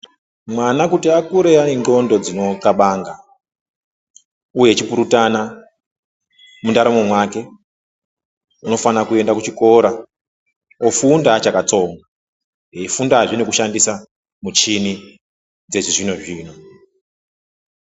Mwana kuti akure ainenghlondo dzinonghlabanga uye echipurutana mundaramo make unofana kuenda kuchikora ofunda achakatsonga eifundazve nemuchini dzechizvinozvino